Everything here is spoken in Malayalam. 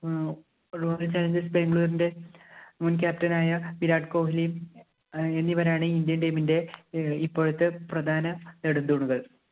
ഏർ Royal challengers Bangalore ന്‍റെ മുന്‍ captain ആയ വിരാട് കൊഹിലിയും എന്നിവരാണ്‌ Indian team ഇന്‍റെ ഇപ്പോഴത്തെ പ്രധാന നെടുംതൂണുകള്‍.